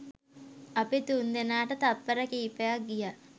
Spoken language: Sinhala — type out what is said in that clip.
අපි තුන්දෙනාට තප්පර කීපයක් ගියා